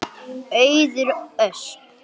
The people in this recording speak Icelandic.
Auður Ösp.